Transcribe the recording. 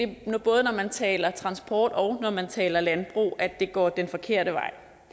det nu både når man taler transport og når man taler landbrug går den forkerte vej